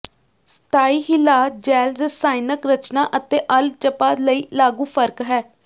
ਸਥਾਈ ਹਿਲਾਅ ਜੈੱਲ ਰਸਾਇਣਕ ਰਚਨਾ ਅਤੇ ਅਰਲ ਝਪਾ ਲਈ ਲਾਗੂ ਫ਼ਰਕ ਹੈ